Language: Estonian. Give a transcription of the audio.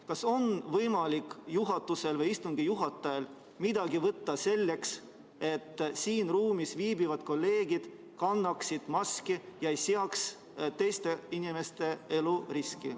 Kas juhatusel või istungi juhatajal on võimalik midagi ette võtta, et siin ruumis viibivad kolleegid kannaksid maski ega seaks teiste inimeste tervist ohtu?